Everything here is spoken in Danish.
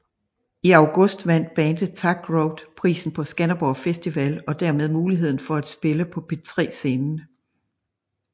I august vandt bandet Tak Rock prisen på Skanderborg festival og dermed muligheden for at spille på P3 scenen